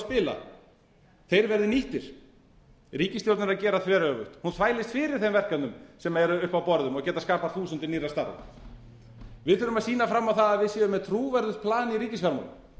spila þeir verði nýttir ríkisstjórnin er að gera þveröfugt hún þvælist fyrir þeim verkefnum sem eru uppi á borðum og geta skapað þúsundir nýrra starfa við þurfum að sýna það að við séum með trúverðugt plan í ríkisfjármálum